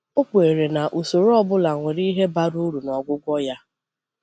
Ọ kwèrè na usoro ọ bụla nwere ihe bara uru n’ọgwụgwọ ya.